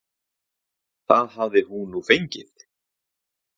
Það hafi hún nú fengið.